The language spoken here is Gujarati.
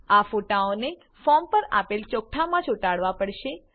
આ ફોટાઓને ફોર્મ પર આપેલ ચોકઠાંમાં ચોટાડવા પડશે